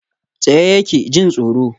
Tsaye yake, jin tsoro